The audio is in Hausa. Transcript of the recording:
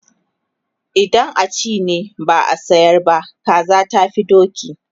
idan a ci ne, ba a sayar ba, kaza tafi doki